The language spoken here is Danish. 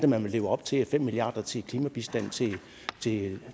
man vil leve op til fem milliarder til klimabistand